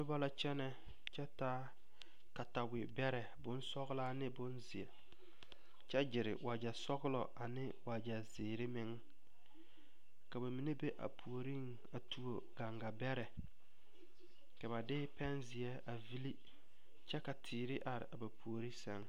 Noba la kyɛnɛ kyɛ taa ba katawebɛrɛ bonsɔglaa ne bonzeɛ kyɛ gyiri wagyɛ sɔglɔ ane wagyɛ zeere meŋ ka ba mine be a puoriŋ a tuo gaŋgabɛrɛ ka ba de pɛnzeɛ a vili kuɛ ka teere are ba puori sɛŋ.